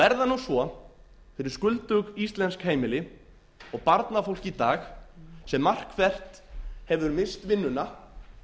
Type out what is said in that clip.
er það nú svo fyrir skuldug íslensk heimili og barnafólk í dag sem margt hvert hefur misst vinnuna